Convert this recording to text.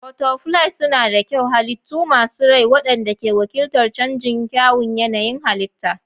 Butterflies suna da kyau, halittu masu rai waɗanda ke wakiltar canji da kyawun yanayin halitta.